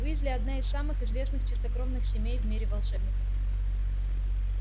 уизли одна из самых известных чистокровных семей в мире волшебников